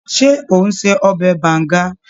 Ṣé ò ń se ọbẹ̀ Banga?